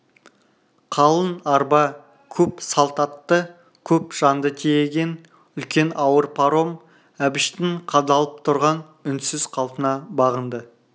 қалың арба көп салт атты көп жанды тиеген үлкен ауыр паром әбіштің қадалып тұрған үнсіз қалпына бағынды